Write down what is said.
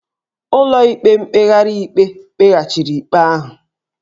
Ụlọikpe mkpegharị ikpe kpeghachiri ikpe ahụ